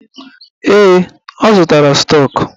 Ee, ọ zụtara stọk.